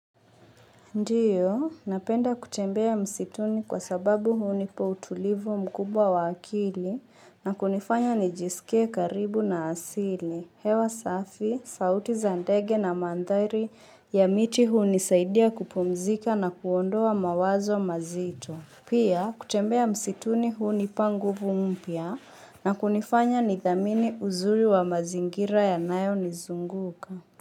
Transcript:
Ndio, napenda kutembea msituni kwa sababu hunipa utulivu mkubwa wa akili na kunifanya nijisikie karibu na asili. Hewa safi, sauti za ndege na mandhari ya miti hunisaidia kupumzika na kuondoa mawazo mazito. Pia, kutembea msituni hunipa nguvu mpya na kunifanya nidhamini uzuri wa mazingira yanayo nizunguka.